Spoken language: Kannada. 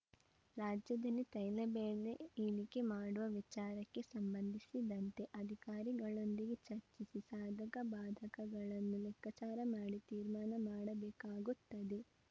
ರಾಜ್ಯದಲ್ಲಿ ತೈಲ ಬೆಲೆ ಇಳಿಕೆ ಮಾಡುವ ವಿಚಾರಕ್ಕೆ ಸಂಬಂಧಿಸಿದಂತೆ ಅಧಿಕಾರಿಗಳೊಂದಿಗೆ ಚರ್ಚಿಸಿ ಸಾಧಕ ಬಾಧಕಗಳನ್ನು ಲೆಕ್ಕಾಚಾರ ಮಾಡಿ ತೀರ್ಮಾನ ಮಾಡಬೇಕಾಗುತ್ತದೆ